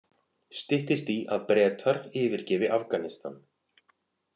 Styttist í að Bretar yfirgefi Afghanistan